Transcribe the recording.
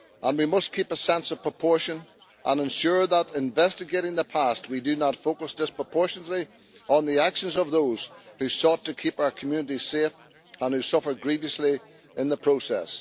We must keep a sense of proportion and ensure that, in investigating the past, we do not focus disproportionately on the actions of those who sought to keep our community safe and who suffered grievously in the process.